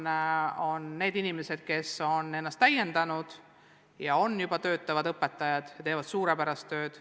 Meil on inimesi, kes on ennast pedagoogikas täiendanud ja juba töötavad õpetajana, tehes suurepärast tööd.